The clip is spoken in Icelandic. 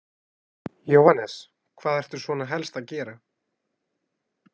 Jóhannes: Hvað ertu svona helst að gera?